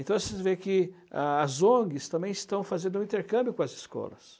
Então, vocês veem que as ONGs também estão fazendo um intercâmbio com as escolas.